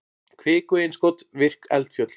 kviku-innskot virk eldfjöll